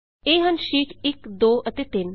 ਇੱਥੇ ਹਨ ਸ਼ੀਟ 1 2 ਅਤੇ 3